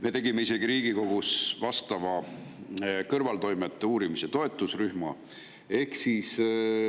Me tegime isegi Riigikogus kõrvaltoimete uurimise toetusrühma.